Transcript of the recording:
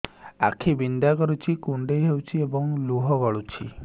ଆଖି ବିନ୍ଧା କରୁଛି କୁଣ୍ଡେଇ ହେଉଛି ଏବଂ ଲୁହ ଗଳୁଛି